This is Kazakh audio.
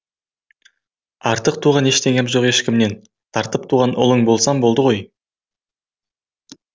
артық туған ештеңем жоқ ешкімнен тартып туған ұлың болсам болды ғой